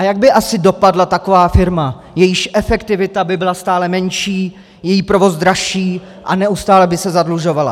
A jak by asi dopadla taková firma, jejíž efektivita by byla stále menší, její provoz dražší a neustále by se zadlužovala?